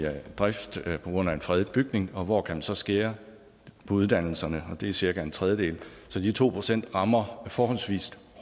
drift på grund af en fredet bygning og hvor kan man så skære på uddannelserne og det er cirka en tredjedel så de to procent rammer forholdsvist